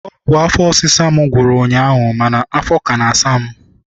Ọgwụ afọ ọsisa m gwụrụ ụnyaahụ mana afọ ka na- asa m.